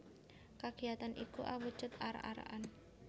Kagiyatan iku awujud arak arakan